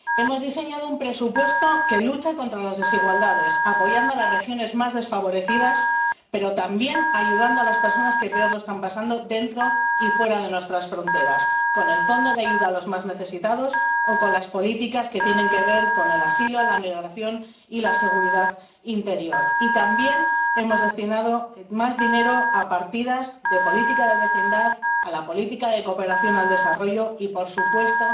Hemos diseñado un presupuesto que lucha contra las desigualdades, apoyando a las regiones más desfavorecidas, pero también ayudando a las personas que peor lo están pasando, dentro y fuera de nuestras fronteras, con el Fondo de Ayuda Europea para los Más Necesitados o con las políticas que tienen que ver con el asilo, la migración y la seguridad interior. Y también hemos destinado más dinero a partidas de políticas de vecindad, a la política de cooperación al desarrollo y —por supuesto,